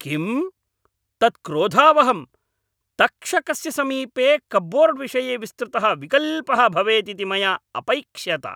किं? तत् क्रोधावहम्, तक्षकस्य समीपे कप्बोर्ड्विषये विस्तृतः विकल्पः भवेत् इति मया अपैक्ष्यत।